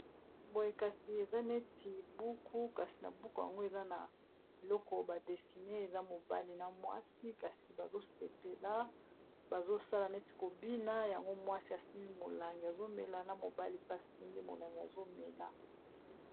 boye kasi eza neti buku kasi na buku yango eza na eloko badesine eza mobale na mwasi kasi bazosepela bazosala neti kobina yango mwasi asimi molange azomela na mobale pe asimi molange azomela